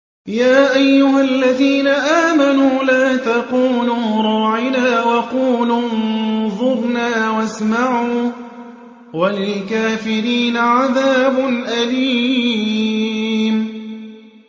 يَا أَيُّهَا الَّذِينَ آمَنُوا لَا تَقُولُوا رَاعِنَا وَقُولُوا انظُرْنَا وَاسْمَعُوا ۗ وَلِلْكَافِرِينَ عَذَابٌ أَلِيمٌ